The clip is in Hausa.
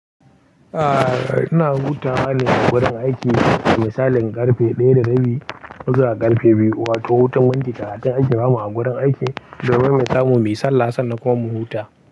Ah, ina huta halin a gurin aiki da misalin ƙarfe ɗaya da rabi, zuwa ƙarfe biyu. Wato hutun wanki da hatun aji gama a gurin aiki domin mu samu mai sallah sannan kuma mu huta.